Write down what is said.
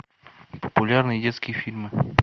популярные детские фильмы